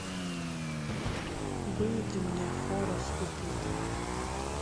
выведи мне хорас и пит